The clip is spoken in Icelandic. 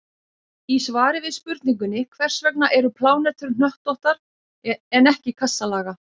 Í svari við spurningunni Hvers vegna eru plánetur hnöttóttar en ekki kassalaga?